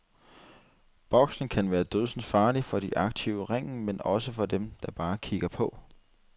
Boksning kan være dødsens farlig, for de aktive i ringen, men også for dem, der bare kikker på.